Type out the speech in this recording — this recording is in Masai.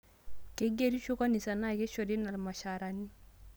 Keigerisho kanisa naa keishoru ina ilmshaarani